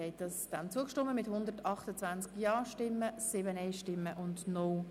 Sie haben Artikel 176 Absatz 2 mit 128 Ja- gegen 7 Nein-Stimmen angenommen.